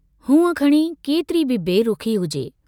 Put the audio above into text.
हूंअ खणी केतिरी बि बरुखी हुजे।